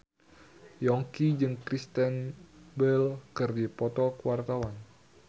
Yongki jeung Kristen Bell keur dipoto ku wartawan